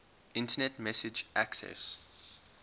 internet message access